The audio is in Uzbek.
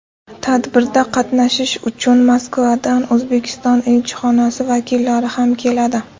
Tadbirda qatnashish uchun Moskvadan O‘zbekiston elchixonasi vakillari ham keladi.